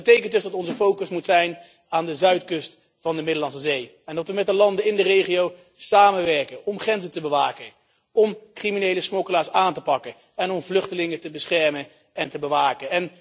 Dat betekent dus dat onze focus op de zuidkust van de Middellandse Zee moet liggen en dat we met de landen in de regio moeten samenwerken om grenzen te bewaken, om criminele smokkelaars aan te pakken en om vluchtelingen te beschermen en te bewaken.